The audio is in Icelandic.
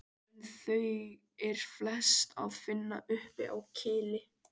En þau er flest að finna uppi á Kili.